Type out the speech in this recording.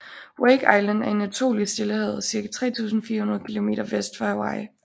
Wake Island er en atol i Stillehavet cirka 3400 km vest for Hawaii